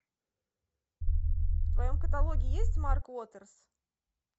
в твоем каталоге есть марк уотерс